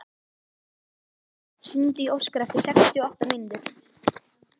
Marten, hringdu í Óskar eftir sextíu og átta mínútur.